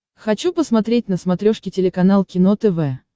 хочу посмотреть на смотрешке телеканал кино тв